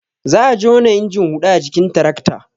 Za a jona injin huɗa a jikin tirakta